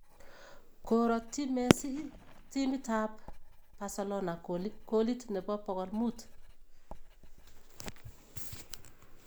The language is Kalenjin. Koratyi Messi timit ab Barcelona kolit nebo pokol muut